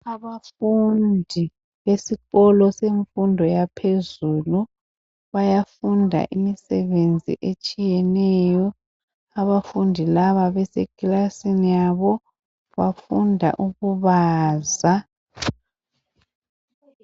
Abafundi besikolo semfundo yaphezulu bayafunda imisebenzi etshiyeneyo. Abafundi laba besekilasini yabo bafunda ukubaza.